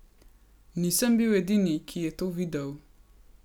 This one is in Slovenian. Nisem bil edini, ki je to videl.